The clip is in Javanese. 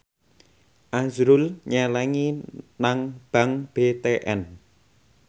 azrul nyelengi nang bank BTN